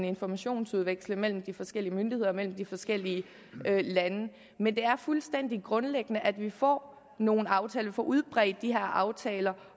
informationsudveksle mellem de forskellige myndigheder mellem de forskellige lande men det er fuldstændig grundlæggende at vi får nogle aftaler og får udbredt de her aftaler